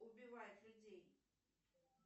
убивает людей